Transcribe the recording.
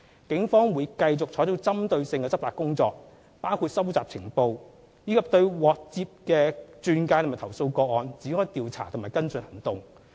警方會繼續採取針對性執法行動，包括收集情報，以及對接獲的轉介和投訴個案展開調查和跟進行動。